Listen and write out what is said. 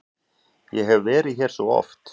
Ég hef verið hér svo oft.